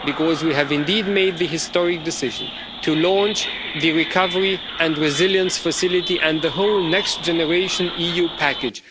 Because we have indeed made the historic decision to launch the Recovery and Resilience Facility and the whole Next Generation EU package.